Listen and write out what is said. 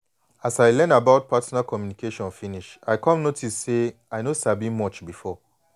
as i learn about partner communication finish i come notice say i no sabi much before.